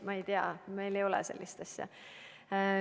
Ma ei tea, meil ei ole sellist asja.